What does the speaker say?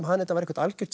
þetta var eitthvert algjört